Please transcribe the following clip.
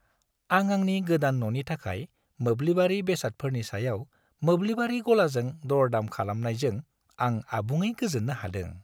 आं आंनि गोदान न'नि थाखाय मोब्लिबारि बेसादफोरनि सायाव मोब्लिबारि गलाजों दर-दाम खालामनायजों आं आबुङै गोजोननो हादों।